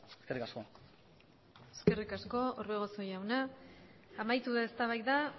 eskerrik asko eskerrik asko orbegozo jauna amaitu da eztabaida